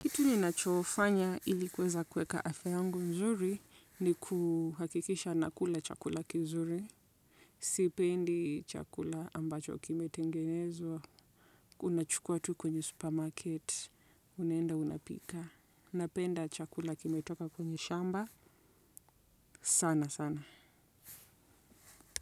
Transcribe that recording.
Kitu ninachofanya ili kuweza kuweka afya yangu nzuri ni kuhakikisha ninakula chakula kizuri. Sipendi chakula ambacho kimetengenezwa. Unachukua tu kwenye supermarket. Unaenda unapika. Napenda chakula kimetoka kwenye shamba, sana, sana.